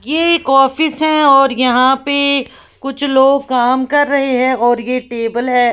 एक ऑफिस है और यहां पे कुछ लोग काम कर रहे हैं और ये टेबल है।